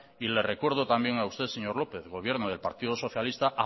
y le recuerdo también a usted señor lópez gobierno del partido socialista